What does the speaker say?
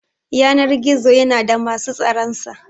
Yanar-gizo yana da musu tsaran sa.